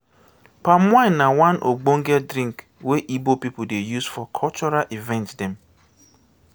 palm wine na one ogbonge drink wey ibo pipu dey use for cultural event dem.